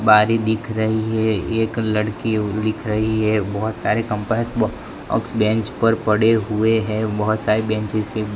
बारी दिख रही है एक लड़की लिख रही है बहोत सारे कंपास बॉक्स बेंच पर पड़े हुए हैं बहोत सारे बेंचेस --